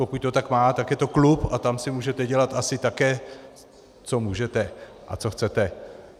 Pokud to tak má, tak je to klub a tam si můžete dělat asi také, co můžete a co chcete.